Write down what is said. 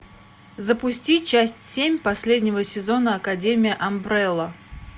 запусти часть семь последнего сезона академия амбрелла